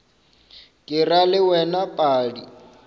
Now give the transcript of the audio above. ke ra le wena padi